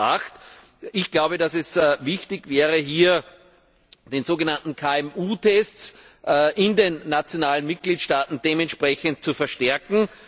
2008. Ich glaube, dass es wichtig wäre, hier den so genannten KMU Test in den nationalen Mitgliedstaaten dementsprechend zu verstärken.